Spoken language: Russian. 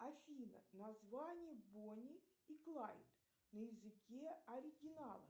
афина название бони и клайд на языке оригинала